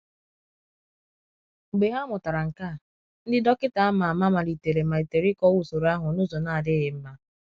Mgbe ha mụtara nke a, ndị dọkịta ama ama malitere malitere ịkọwa usoro ahụ n’ụzọ na-adịghị mma.